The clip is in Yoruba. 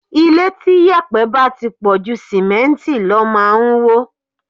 Ilé tí yèpẹ̀ bá ti pọ̀ ju Símẹ́ǹtì lọ máa ń wó.